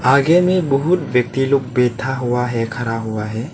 आगे में बहुत व्यक्ति लोग बैठा हुआ है खड़ा हुआ है।